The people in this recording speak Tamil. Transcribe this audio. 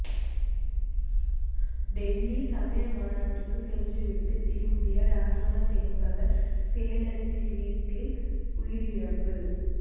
டெல்லி சமய மாநாட்டுக்கு சென்றுவிட்டு திரும்பிய ரஹமத் என்பவர் சேலத்தில் வீட்டில் உயிரிழப்பு